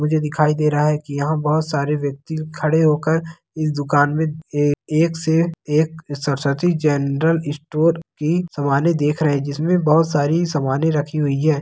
मुझे दिखाई दे रहा है की यहाँ बहुत सारे वयक्ति खड़े होकर इस दुकान में ए--एक से एक सरस्वती जेनरल स्टोर की सामने देख रहे है जिसमे बहुत सारी सामने रखी हुई है।